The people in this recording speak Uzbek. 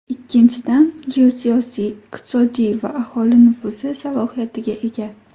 Ikkinchidan, geosiyosiy, iqtisodiy va aholi nufuzi salohiyatiga ega.